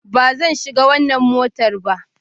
Ba zan shiga wannan motar ba